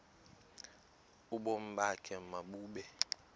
ubomi bakho mabube